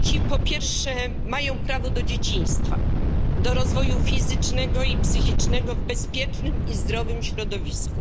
Po pierwsze, dzieci mają prawo do dzieciństwa, do rozwoju fizycznego i psychicznego w bezpiecznym i zdrowym środowisku.